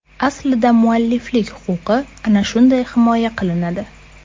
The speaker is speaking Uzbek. Aslida mualliflik huquqi ana shunday himoya qilinadi.